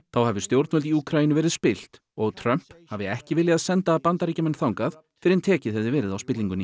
þá hafi stjórnvöld í Úkraínu verið spillt og Trump hafi ekki viljað senda Bandaríkjamenn þangað fyrr en tekið hefði verið á spillingunni